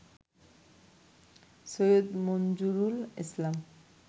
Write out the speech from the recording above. Syed Manjurul Islam